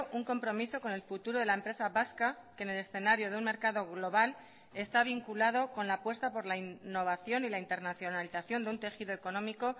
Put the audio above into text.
un compromiso con el futuro de la empresa vasca que en el escenario de un mercado global está vinculado con la apuesta por la innovación y la internacionalización de un tejido económico